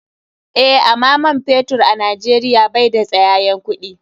Eh, ama man fetur a nijeria bai da tsayayen kuɗi.